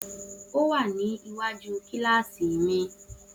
O wà ní iwaju kíláàsì mi